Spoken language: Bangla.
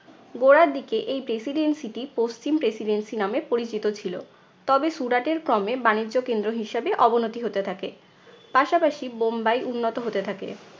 গোড়ার দিকে এই presidency টি পশ্চিম presidency নামে পরিচিত ছিল। তবে সুরাটের ক্রমে বাণিজ্য কেন্দ্র হিসাবে অবনতি হতে থাকে, পাশাপাশি বোম্বাই উন্নত হতে থাকে।